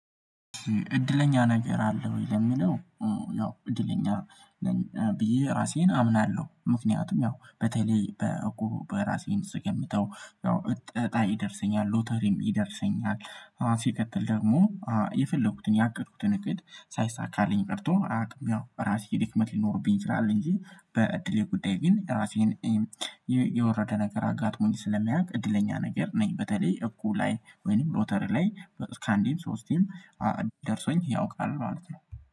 እድለኛ ነገር አለ ወይ ለሚለው? ያው እድለኛ ብዬ ራሴን አምናለሁ ምክንያቱም ያው በተለይ በእቁብ በራሴን ስገምተው ያው እጣ ይደርሰኛል ሎተሪም ይደርሰኛል። ሲቀጥል ደግሞ የፈለኩትን ያቀድኩትን እቅድ ሳይሳካልኝ ቀርቶ አያቅም ያው ራሴ ድክመት ሊኖርብኝ ይችላል። እንጂ በእድሌ ጉዳይ ግን ራሴን የወረደ ነገር አጋጥሞኝ ስለሚያውቅ እድለኛ ነገር ነኝ። በተለይ እቁብ ላይ ወይንም ሎተር ላይ እስከ አንዴም ሶስቴም ደርሶኝ ያውቃል ማለት ነው